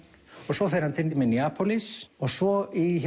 svo fer hann Minneapolis og svo í